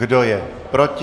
Kdo je proti?